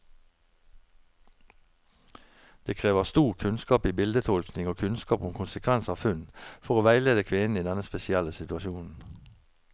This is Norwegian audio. Det krever stor kunnskap i bildetolkning og kunnskap om konsekvens av funn, for å veilede kvinnen i denne spesielle situasjonen.